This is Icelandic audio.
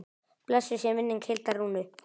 Blessuð sé minning Hildar Rúnu.